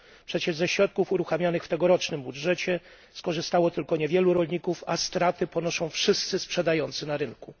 Przecież ze środków uruchamianych w tegorocznym budżecie skorzystało tylko niewielu rolników, a straty ponoszą wszyscy sprzedający na rynku.